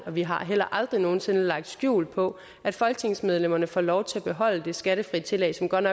vi har heller aldrig nogen sinde lagt skjul på at folketingsmedlemmerne får lov til at beholde det skattefrie tillæg som godt